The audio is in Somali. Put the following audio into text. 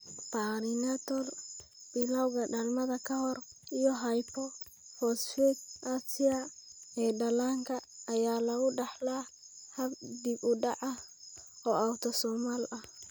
Perinatal (bilawga dhalmada ka hor) iyo hypophosphatasia ee dhallaanka (HPP) ayaa lagu dhaxlaa hab dib-u-dhac ah oo autosomal ah.